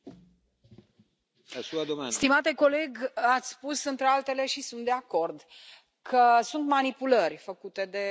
Domnule Tarand, ați spus, între altele și sunt de acord că sunt manipulări făcute de platforme.